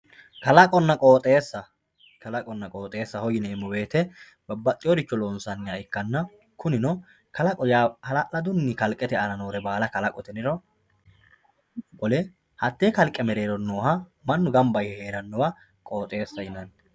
kalaqonna qooxeessa kalaqonna qooxeessaho yineemo woyiite babbadhiyooricho lonsanniha ikkanna kunino kalaqo yaa hala'ladunni kalqete aana noore baala kalaqote yiniro qole hatee kalqe mereero nooha mannu gamba yee heerannowa qooxeessaho yinanni